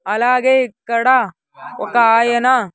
అలాగే ఇక్కడ ఒక్క ఆయన.